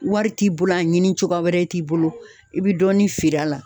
Wari t'i bolo ,a ɲini cogoya wɛrɛ t'i bolo ,i bɛ dɔɔnin feere a la.